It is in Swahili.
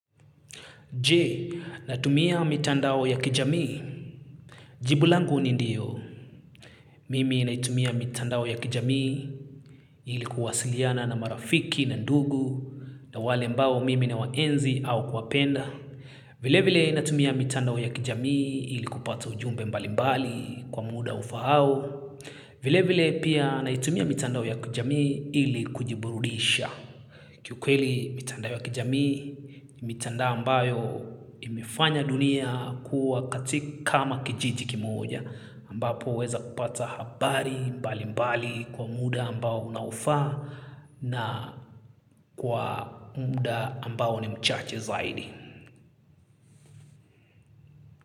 Jee, natumia mitandao ya kijamii. Jibu langu ni ndiyo. Mimi naitumia mitandao ya kijami ili kuwasiliana na marafiki na ndugu na wale ambao mimi nawaenzi au kuwapenda. Vile vile natumia mitandao ya kijami ili kupata ujumbe mbali mbali kwa muda ufaao. Vile vile pia naitumia mitandao ya kijami ili kujiburudisha. Kiukweli mitandao ya kijamii, ni mitandao ambayo imefanya dunia kuwa kama kijiji kimoja, ambapo waeza kupata habari mbali mbali kwa muda ambao unaofaa na kwa muda ambao ni mchache zaidi.